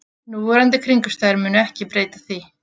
Núverandi kringumstæður munu ekki breyta því